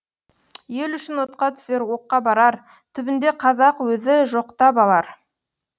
ел үшін отқа түсер оққа барар түбінде қазақ өзі жоқтап алар